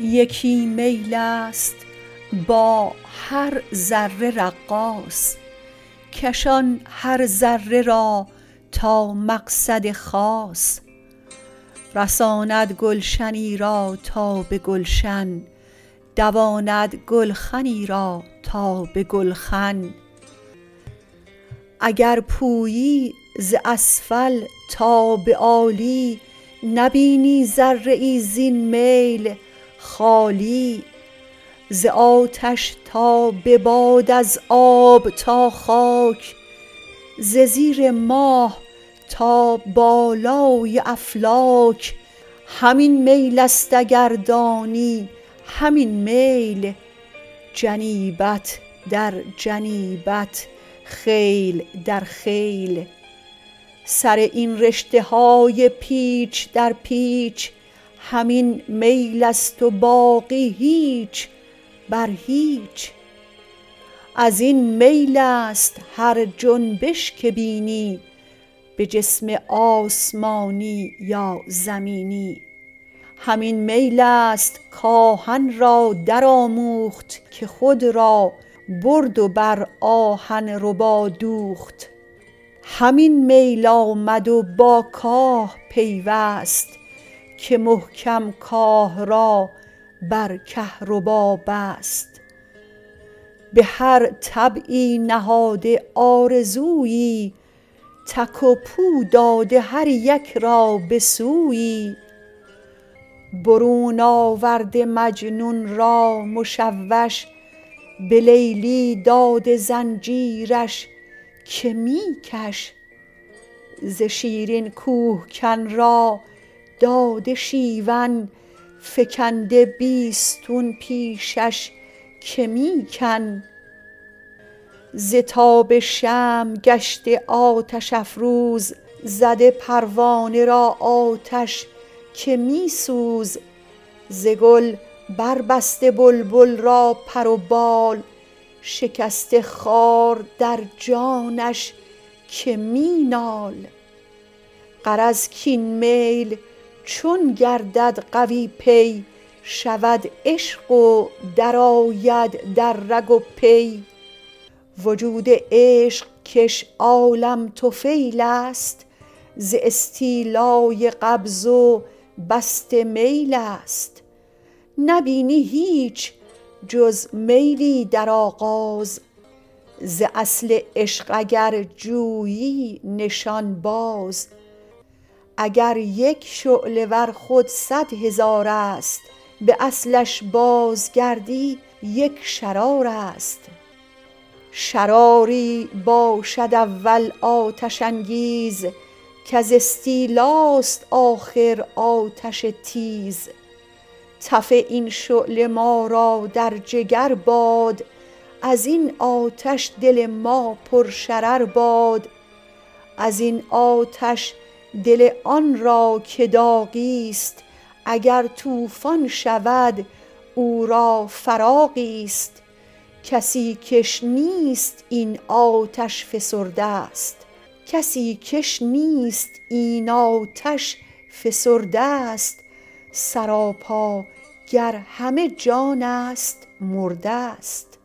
یکی میل است با هر ذره رقاص کشان هر ذره را تا مقصد خاص رساند گلشنی را تا به گلشن دواند گلخنی را تا به گلخن اگر پویی ز اسفل تا به عالی نبینی ذره ای زین میل خالی ز آتش تا به باد از آب تا خاک ز زیر ماه تا بالای افلاک همین میل است اگر دانی همین میل جنیبت در جنیبت خیل در خیل سر این رشته های پیچ در پیچ همین میل است و باقی هیچ بر هیچ از این میل است هر جنبش که بینی به جسم آسمانی یا زمینی همین میل است کآهن را درآموخت که خود را برد و بر آهن ربا دوخت همین میل آمد و با کاه پیوست که محکم کار را بر کهرباست به هر طبعی نهاده آرزویی تک و پو داده هر یک را به سویی برون آورده مجنون را مشوش به لیلی داده زنجیرش که می کش ز شیرین کوهکن را داده شیون فکنده بیستون پیشش که می کن ز تاب شمع گشته آتش افروز زده پروانه را آتش که می سوز ز گل بر بسته بلبل را پر و بال شکسته خار در جانش که می نال غرض کاین میل چون گردد قوی پی شود عشق و درآید در رگ و پی وجود عشق کش عالم طفیل است ز استیلای قبض و بسط میل است نبینی هیچ جز میلی در آغاز ز اصل عشق اگر جویی نشان باز اگر یک شعله در خود سد هزار است به اصلش بازگردی یک شرار است شراری باشد اول آتش انگیز کز استیلاست آخر آتش تیز تف این شعله ما را در جگر باد از این آتش دل ما پر شرر باد ازین آتش دل آن را که داغیست اگر توفان شود او را فراغیست کسی کش نیست این آتش فسرده ست سراپا گر همه جانست مرده ست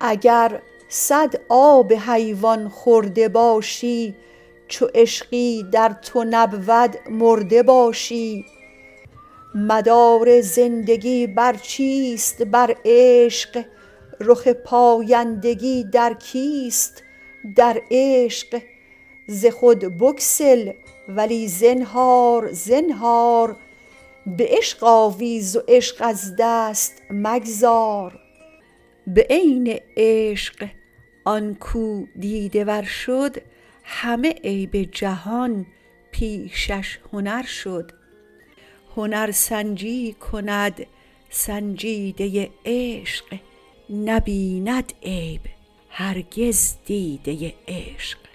اگر سد آب حیوان خورده باشی چو عشقی در تو نبود مرده باشی مدار زندگی بر چیست برعشق رخ پایندگی در کیست در عشق ز خود بگسل ولی زنهار زنهار به عشق آویز و عشق از دست مگذار به عین عشق آنکو دیده ور شد همه عیب جهان پیشش هنر شد هنر سنجی کند سنجیده عشق نبیند عیب هرگز دیده عشق